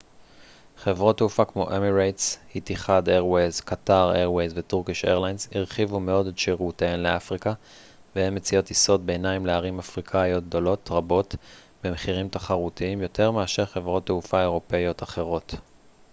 חברות תעופה כמו אמירטס איתיחאד איירווייז קטאר איירווייז וטורקיש איירליינז הרחיבו מאוד את שירותיהן לאפריקה והן מציעות טיסות ביניים לערים אפריקאיות גדולות רבות במחירים תחרותיים יותר מאשר חברות תעופה אירופאיות אחרות